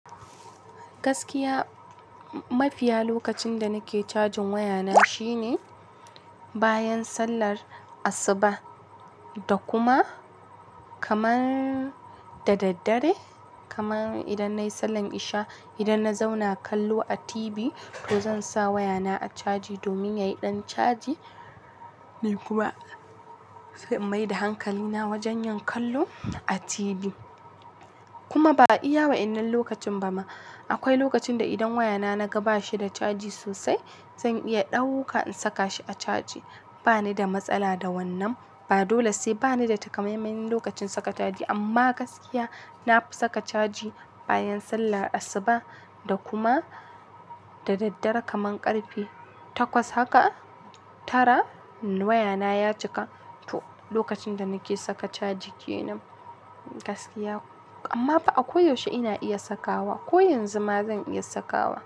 Gaskiya, mafiya lokacin da nake cajin wayana shine bayan sallar asuba, da kuma kamar da daddare. Kamar idan na yi sallan isha, idan na zauna kallo a tibi to zan sa wayana a caji domin yayi ɗan caji ni kuma sai in mai da hankalina wajen yin kallo a tibi. Kuma ba iya wadannan lokacin ba ma. Akwai lokacin idan wayana na ga bashi caji sosai, zan iya dauka in saka shi a caji ba ni da matsala da wannan, ba dole sai ba ni da takamaiman lokacin saka caji amma gaskiya na fi saka caji, bayan sallar asuba da kuma da daddare kaman ƙarfe takwas haka tara wayana ya cika. To, lokacin da nake saka caji ke nan gaskiya. Amma akwai yaushe ina iya sakawa. Ko yanzu ma zan iya sakawa.